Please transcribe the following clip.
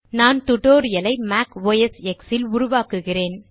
நான் டியூட்டோரியல் ஐ Mac OS X ல் உருவாக்குகிறேன்